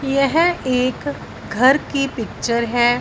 यह एक घर की पिक्चर है।